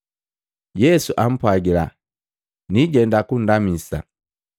Yesu ampwagila, “Niijenda kundamisa.”